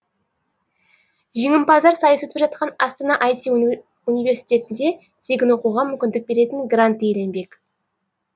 жеңіпаздар сайыс өтіп жатқан астана айти унивсерситетінде тегін оқуға мүмкіндік беретін грант иеленбек